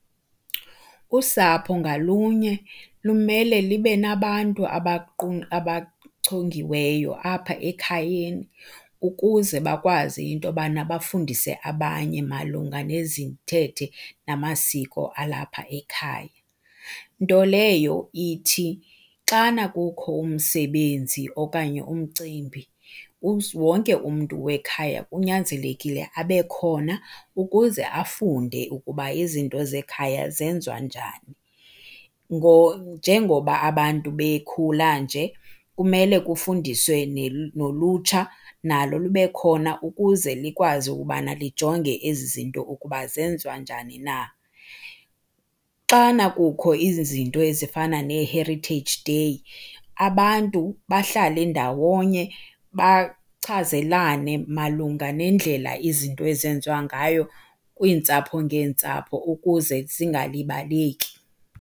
Usapho ngalunye lumele libe nabantu abachongiweyo apha ekhayeni ukuze bakwazi into yobana bafundise abanye malunga nezithethe namasiko alapha ekhaya. Nto leyo ithi xana kukho umsebenzi okanye umcimbi wonke umntu wekhaya kunyanzelekile abe khona ukuze afunde ukuba izinto zekhaya zenziwa njani. Njengoba abantu bekhula nje kumele kufundiswe nolutsha nalo libe khona ukuze likwazi ukubana lijonge ezi zinto ukuba zenziwa njani na. Xana kukho izinto ezifana nee-Heritage Day abantu bahlale ndawonye bachazelene malunga nendlela izinto ezenziwa ngayo kwiintsapho ngeentsapho ukuze zingalibaleki.